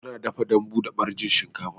Ana dafa dambu da ɓarjin shinkafa